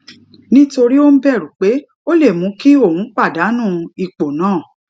nítorí ó ń bèrù pé ó lè mú kí òun pàdánù ipò náà